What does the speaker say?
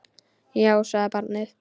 Já, sagði barnið.